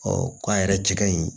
k'a yɛrɛ cɛ ka ɲi